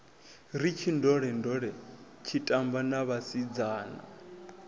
ri tshindolendole tshitamba na vhasidzana